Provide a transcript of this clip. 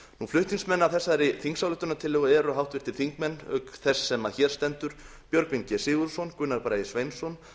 flutningsmenn að þessari þingsályktunartillögu eru háttvirtir þingmenn auk þess sem hér stendur björgvin g sigurðsson gunnar bragi sveinsson